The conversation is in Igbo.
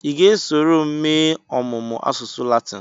Ị ga-esoro m mee ọmụmụ asụsụ Latin?